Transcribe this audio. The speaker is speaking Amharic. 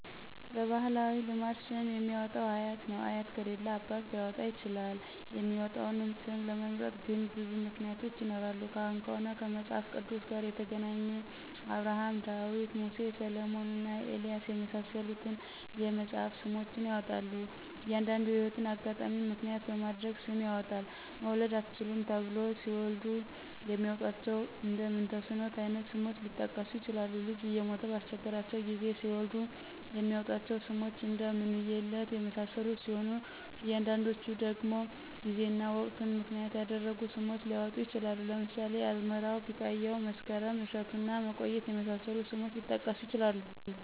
በባህላዊ ልማድ ስም የሚያወጣው አያት ነው አያት ከሌለ አባት ሊያወጣ ይችላል የሚመጣውን ስም ለመምረጥ ግን ብዙ ምክንያቶች ይኖራሉ ካህን ከሆነ ከመጽሐፍ ቅዱስ ጋር የተገናኘ አብርሀም :ዳዊት :ሙሴ: ሰለሞንና ኤልያስ የመሳሰሉትን የመጽሐፍ ስሞችን ያወጣል። አንዱንዲ የህይወት አጋጣሚን ምክንያት በማድረግ ስም ያወጣል መውለድ አትችሉም ተብለው ሲወልዱ የሚያወጧቸው እንደ ምንተስኖት አይነት ስሞች ሊጠቀሱ ይችላሉ። ልጅ እየሞተ ባስቸገራቸው ጊዜ ሲወልዱ የሚያወጧቸው ስሞች እደ ምንውየለት የመሳሰሉት ሲሆኑ አንዳንዶቹ ደግሞ ጊዜና ወቅትን ምክንያት ያደረጉ ስሞች ሊወጡ ይችላሉ ለምሳሌ አዝመራው :ቢቃያው :መስከረም :እሸቱና መቆየት የመሳሰሉት ስሞች ሊጠቀሱ ይችላሉ።